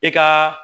I ka